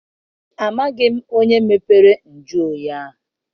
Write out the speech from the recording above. Amaghị m onye mepere nju oyi ahụ.